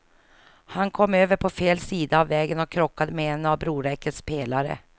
Han kom över på fel sida av vägen och krockade med en av broräckets pelare.